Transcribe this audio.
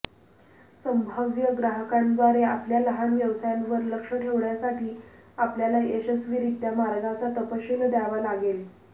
संभाव्य ग्राहकांद्वारे आपल्या लहान व्यवसायावर लक्ष ठेवण्यासाठी आपल्याला यशस्वीरित्या मार्गाचा तपशील द्यावा लागेल